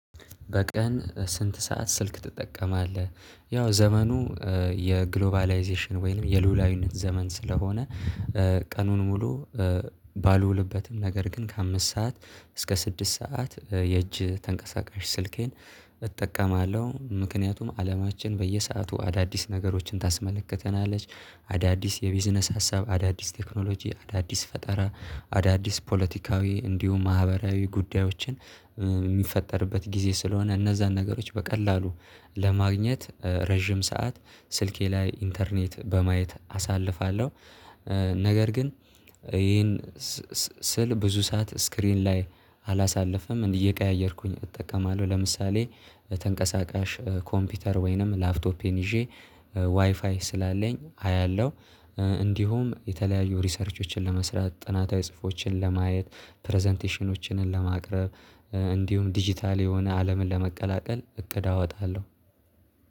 በቀን ስንት ሰዓት ስልክ ትጠቀማለህ? ያው ዘመኑ የግሎባላይዜሽን ወይንም የልዑላዊነት ዘመን ስለሆነ ቀኑን ሙሉ ባልውልበትም ነገር ግን ከአምስት ሰዓት እስከ ስድስት ሰዓት የእጅ ተንቀሳቃሽ ስልኬን እጠቀማለሁ ምክንያቱም አለማችን በየሰአቱ አዳዲስ ነገሮችን ታስመልክተናለች አዳዲስ የቢዝነስ ሀሳብ አዳዲስ ቴክኖሎጂ አዳዲስ ፈጠራ አዳዲስ ፖለቲካዊ እንዲሁም ማህበራዊ ጉዳዮችን የሚፈጠርበት ጊዜ ስለሆነ እነዛን ነገሮች በቀላሉ ለማግኘት ረጅም ሰዓት ስልኬ ላይ ኢንተርኔት በማየት አሳልፋለሁ። ነገር ግን ይሄን ስል ብዙ ሰዓት ስክሪን ላይ አላሳለፍንም እንዲህ እየቀያየርኩኝ እጠቀማለሁ። ለምሳሌ ተንቀሳቃሽ ኮምፒውተር ወይንም ላፕቶፔን ይዤ ዋይፋይ ስላለኝ አያለሁ። እንዲሁም የተለያዩ ሪሰርቾችን ለመስራት ጥናታዊ ጽሁፎችን ለማየት ፕረዘንቴሽኖችን ለማቅረብ እንዲሁም ዲጂታል የሆነ አለምን ለመቀላቀል እቅድ አወጣለሁ